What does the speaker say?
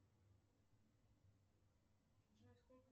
джой сколько